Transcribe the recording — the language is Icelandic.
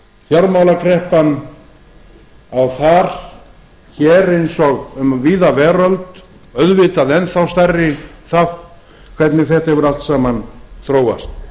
fjármálakreppan á þar hér eins og um víða veröld auðvitað enn þá stærri þátt hvernig þetta hefur allt saman þróast